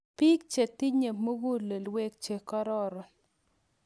Piik che tinye mukulelwek che kororon.